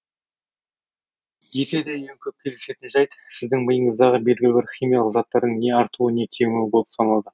десе де ең көп кездесетін жәйт сіздің миыңыздағы белгілі бір химиялық заттардың не артуы не кемуі болып саналады